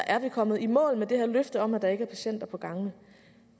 kommet i mål med det her løfte om at der ikke er patienter på gangene